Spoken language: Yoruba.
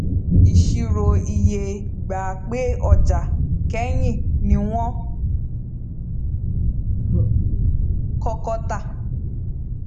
iṣirò iye gbà pé ọjà kẹyìn ni wọn kọkọ tà